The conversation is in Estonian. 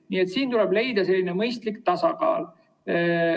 Nii et siin tuleb leida selline mõistlik tasakaal.